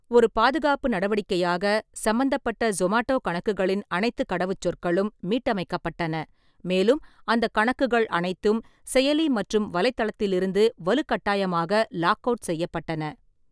ஒரு பாதுகாப்பு நடவடிக்கையாக, சம்பந்தப்பட்ட சொமாட்டோ கணக்குகளின் அனைத்துக் கடவுச்சொற்களும் மீட்டமைக்கப்பட்டன, மேலும் அந்தக் கணக்குகள் அனைத்தும் செயலி மற்றும் வலைத்தளத்திலிருந்து வலுக்கட்டாயமாக லாக்அவுட் செய்யப்பட்டன.